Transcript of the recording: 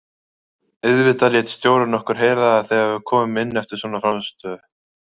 Auðvitað lét stjórinn okkur heyra það þegar við komum inn eftir svona frammistöðu.